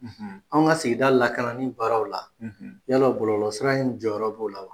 Anw ka sigida lakanani barow la yala bɔlolɔ sira in jɔyɔrɔ b'o la wa